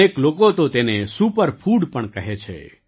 અનેક લોકો તો તેને સુપર ફૂડ પણ કહે છે